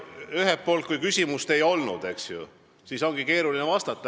Ühelt poolt ütlen, et kui küsimust ei olnud, eks ju, siis ongi keeruline vastata.